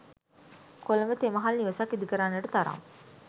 කොළඹ තෙ මහල් නිවසක් ඉදි කරන්නට තරම්